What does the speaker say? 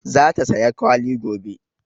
Za ta saya kwalli gobe